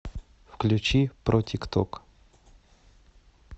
включи протикток